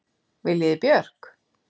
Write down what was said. Viljiði Björk?